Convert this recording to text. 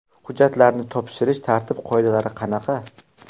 Hujjatlarni topshirish tartib-qoidalari qanaqa?